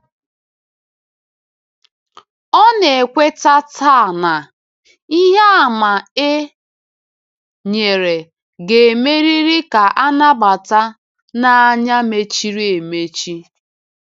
Ọ na-ekweta taa na “ ihe àmà e nyere ga-emerịrị ka a nabata n’anya mechiri emechi. ”